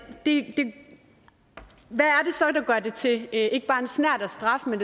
det så der gør det til ikke bare en snert af straf men